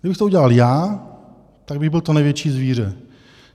Kdybych to udělal já, tak bych byl to největší zvíře.